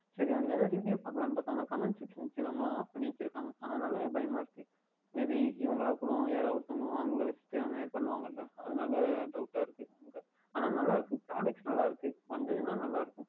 சரி அதில் எதாவுது Review பார்க்கலாம் என்று பார்த்தால் Comment Section எல்லாம் Off பண்ணி வைத்து இருக்கின்றார்கள் அதனால் பயமா இருக்கின்றது Maybe இவர்கள் கூட வருவது வாங்கவில்லை என்று அந்தமாதிரி பண்ணுவார்களா அதனால் Doubt டாக இருக்கின்றது ஆனால் நன்றாக இருக்கின்றது Products நன்றாக இருக்கின்றது